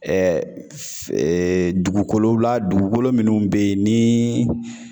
dugukolow la dugukolo munnu be yen ni